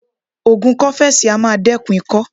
Ògùn kọ́fẹ́sì á máa dẹ́kun ikọ́.